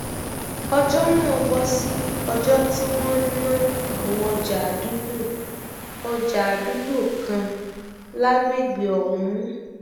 ọjọ náà bọ sí ọjọ tí wọn ń ná àwọn ọjà àdúgbò ọjà àdúgbò kan lágbègbè ọhún